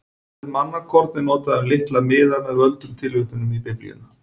Orðið mannakorn er notað um litla miða með völdum tilvitnunum í Biblíuna.